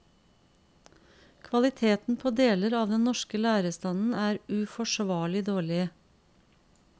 Kvaliteten på deler av den norske lærerstanden er uforsvarlig dårlig.